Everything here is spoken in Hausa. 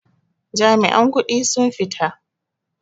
Jami'an kudi sun fita.